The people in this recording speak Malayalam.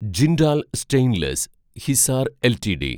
ജിൻഡാൽ സ്റ്റെയിൻലെസ് (ഹിസാർ) എൽടിഡി